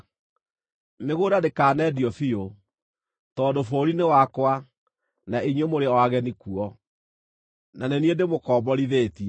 “ ‘Mĩgũnda ndĩkanendio biũ, tondũ bũrũri nĩ wakwa na inyuĩ mũrĩ o ageni kuo, na nĩ niĩ ndĩmũkomborithĩtie.